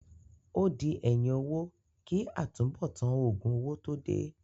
Ó di ẹ̀yìn owó kí àtúnbọ̀tán òògùn owó tó dé.